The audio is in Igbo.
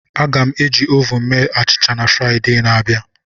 Aga m eji ovun mee achịcha na Fraịde na-abịa.